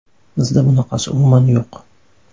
Bizda bunaqasi umuman yo‘q.